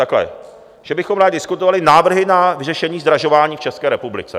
Takhle, že bychom rádi diskutovali Návrhy na vyřešení zdražování v České republice.